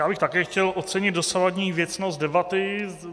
Já bych také chtěl ocenit dosavadní věcnost debaty.